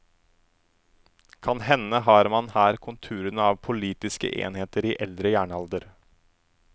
Kanhende har man her konturene av politiske enheter i eldre jernalder.